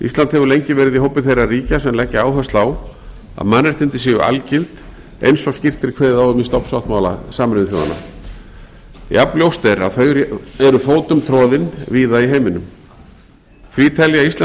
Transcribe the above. ísland hefur lengi verið í hópi þeirra ríkja sem leggja áherslu á að mannréttindi séu algild eins og skýrt er kveðið á um í stofnsáttmála sameinuðu þjóðanna jafn ljóst er að þau eru fótum orðin víða í heiminum því telja íslensk